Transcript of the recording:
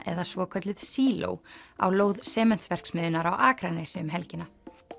eða svokölluð síló á lóð Sementsverksmiðjunnar á Akranesi um helgina